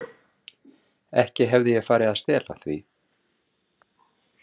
Ekki hefði ég farið að stela því.